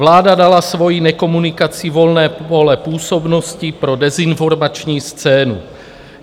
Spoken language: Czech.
Vláda dala svou nekomunikací volné pole působnosti pro dezinformační scénu.